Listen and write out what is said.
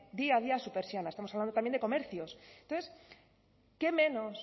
día a día su persiana estamos hablando también de comercios entonces qué menos